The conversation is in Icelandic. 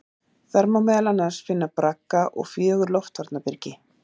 Þar má meðal annars finna bragga og fjögur loftvarnarbyrgi.